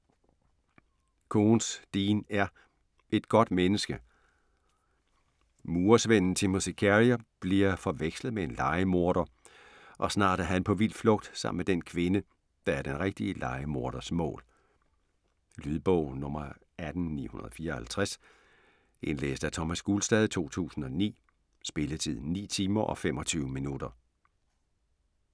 Koontz, Dean R.: Et godt menneske Murersvenden Timothy Carrier bliver forvekslet med en lejemorder og snart er han på vild flugt sammen med den kvinde, der er den rigtige lejemorders mål. Lydbog 18954 Indlæst af Thomas Gulstad, 2009. Spilletid: 9 timer, 25 minutter.